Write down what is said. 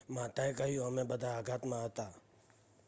"માતાએ કહ્યું "અમે બધા આઘાતમાં હતા.""